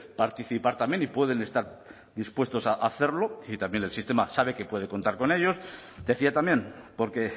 participar también y pueden estar dispuestos a hacerlo y también el sistema sabe que puede contar con ellos decía también porque